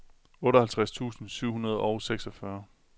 otteoghalvtreds tusind syv hundrede og seksogfyrre